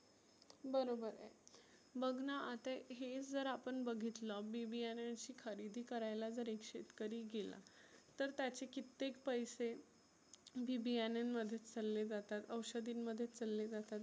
बरोबर आहे. बघना आता हे जर आपण बघितलं बी बीयान्याची खरेदी करायला जर एक शेतकरी गेला तर त्याचे कित्तेक पैसे बी बियान्यामध्येच चालले जातात. औषधींमध्येच चालले जातात.